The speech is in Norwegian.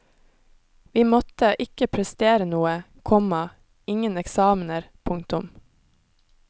Vi måtte ikke prestere noe, komma ingen eksamener. punktum